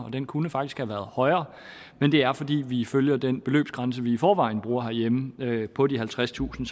og den kunne faktisk have været højere men det er fordi vi følger den beløbsgrænse vi i forvejen bruger herhjemme på de halvtredstusind